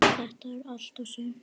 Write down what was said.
Þetta er allt og sumt